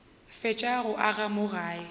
fetša go aga mo gae